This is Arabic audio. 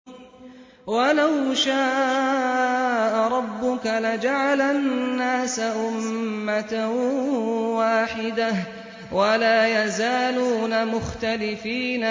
وَلَوْ شَاءَ رَبُّكَ لَجَعَلَ النَّاسَ أُمَّةً وَاحِدَةً ۖ وَلَا يَزَالُونَ مُخْتَلِفِينَ